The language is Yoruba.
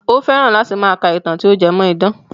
Ó fẹ́ràn láti máa ka ìtàn tí ó jé mọ́ idán.